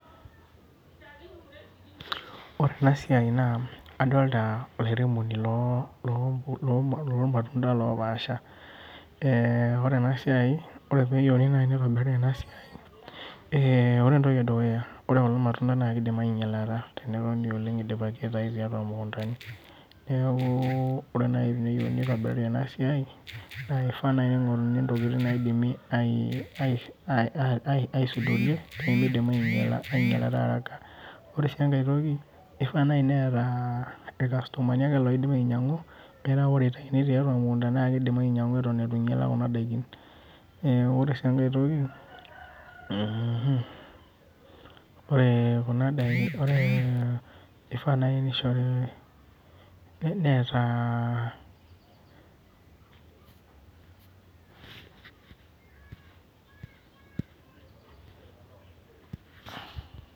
Ore enasiai naa, adolta olaremoni lormatunda lopaasha. Ore enasiai Ore peyieuni nai nitobiriri enasiai, ore entoki edukuya ore kulo matunda na kidim ainyalata tenetoni oleng idipaki aitayu tiatua mukuntani. Neeku ore teneyieu nitobiriri enasiai, na kifaa nai ping'oruni ntokiting naidimi aisudorie, pemidim ainyalata araka. Ore si enkae toki, ifaa nai netaa irkastomani ake loidim ainyang'u metaa ore itayuni tiatua emukunda na kidim ainyang'u eton itu inyala kuna daikin. Ore si enkae toki, ore kuna daikin ifaa nai nishori netaa.